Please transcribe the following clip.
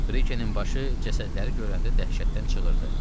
Brikenin başı cəsədləri görəndə dəhşətdən çığırdı.